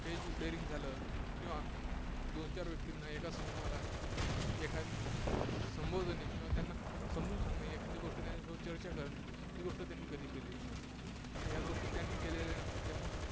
stage daring झालं किंवा दोन चार व्यक्तींना, एका समूहाला, संबोधने किंवा त्यांना समजून सांगणे, एखादी गोष्ट त्यांच्यासोबत चर्चा करणे ही गोष्ट त्यांनी कधी केलेली नसते. या गोष्टी त्यांनी केलेल्या नसतात, त्यामुळे